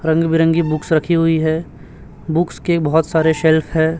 रंग बिरंगी बुक्स रखी हुई है बुक्स के बहुत सारे शेल्फ है।